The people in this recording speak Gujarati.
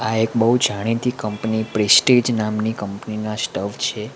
આ એક બહુ જાણીતી કંપની પ્રેસ્ટેજ નામની કંપની ના સ્ટવ છે.